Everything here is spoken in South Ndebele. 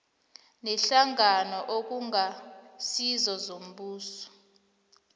neenhlangano okungasizo zombuso